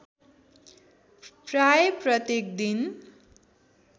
प्राय प्रत्येक दिन